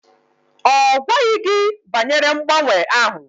Ọ gwaghị gị banyere mgbanwe ahụ?